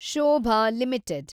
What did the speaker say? Shobha limited